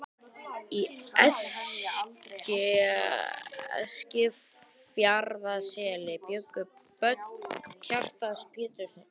Í Eskifjarðarseli bjuggu börn Kjartans Péturssonar.